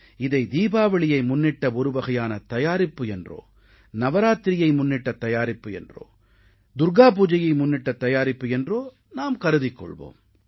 இதை தீபாவளியை முன்னிட்ட ஒருவகையான தயாரிப்பு என்றோ நவராத்திரியை முன்னிட்ட தயாரிப்பு என்றோ துர்க்கா பூஜையை முன்னிட்ட தயாரிப்பு என்றோ நாம் கருதிக் கொள்வோம்